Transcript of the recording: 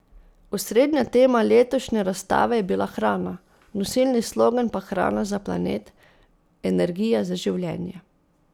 Osrednja tema letošnje razstave je bila hrana, nosilni slogan pa Hrana za planet, energija za življenje.